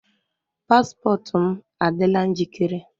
Paspọtụ m adịla njikere?